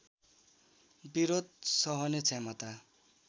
विरोध सहने क्षमता